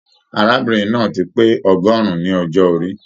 Arábìnrin náà ti pé ọ̀rúndún ní ọjọ orí.